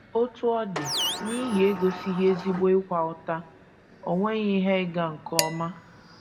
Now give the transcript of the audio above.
Otú ọ dị, n’ihi egosighị ezigbo ịkwa ụta, o nweghị ihe ịga nke ọma.